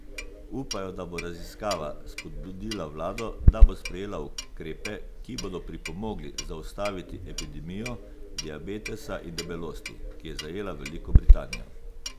Upajo, da bo raziskava spodbudila vlado, da bo sprejela ukrepe, ki bodo pripomogli zaustaviti epidemijo diabetesa in debelosti, ki je zajela Veliko Britanijo.